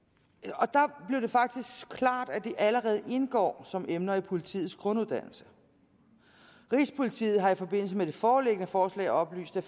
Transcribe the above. og der blev det faktisk klart at de allerede indgår som emner i politiets grunduddannelse rigspolitiet har i forbindelse med det foreliggende forslag oplyst at